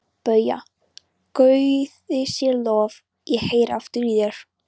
BAUJA: Guði sé lof, ég heyri aftur í þér!